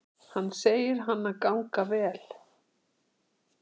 Hann segir hana ganga vel.